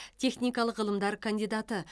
техникалық ғылымдар кандидаты